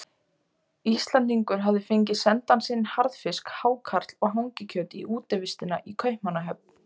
Íslendingur hafði fengið sendan sinn harðfisk, hákarl og hangikjöt í útivistina í Kaupmannahöfn.